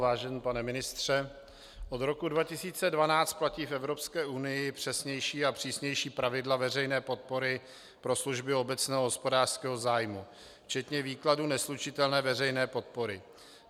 Vážený pane ministře, od roku 2012 platí v Evropské unii přesnější a přísnější pravidla veřejné podpory pro služby obecného hospodářského zájmu včetně výkladu neslučitelné veřejné podpory.